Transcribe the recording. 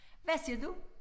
Hvad siger du?